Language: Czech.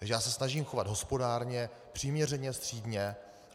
Takže já se snažím chovat hospodárně, přiměřeně střídmě.